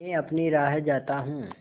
मैं अपनी राह जाता हूँ